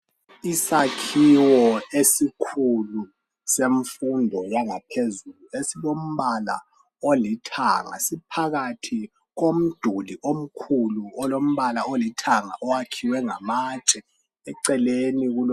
Isakhiwo esikhulu semfundo yangaphezulu esilombala olithanga. Siphakathi komduli omkhulu olombala olithanga owakhiwe ngamatshe. Eceleni kulo